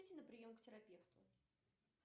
на прием к терапевту